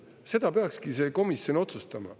Seda peakski see komisjon otsustama.